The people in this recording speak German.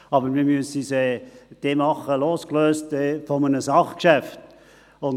Aber man müsse es dann losgelöst von einem Sachgeschäft machen.